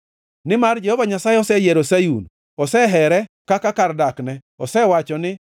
Nimar Jehova Nyasaye oseyiero Sayun, osehere kaka kar dakne, osewacho ni,